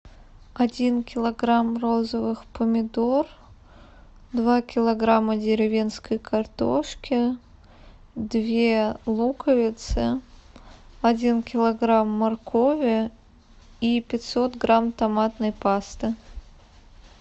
один килограмм розовых помидор два килограмма деревенской картошки две луковицы один килограмм моркови и пятьсот грамм томатной пасты